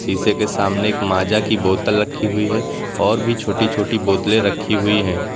शीशे के सामने एक माजा की बोतल रखी हुई है और भी छोटी छोटी बोतलें रखी हुई है।